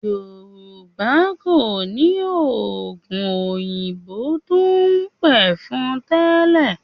Yorùba kò ní oògùn òyìnbó tó ń pẹ̀fọn tẹ́lẹ̀